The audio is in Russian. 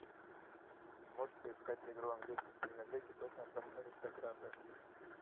можешь поискать игру английской премьер лиги тоттенхэм аристократы